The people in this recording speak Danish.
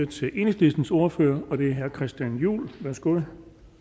til enhedslistens ordfører og det er herre christian juhl værsgo